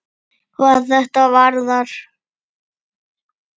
hvað þetta varðar.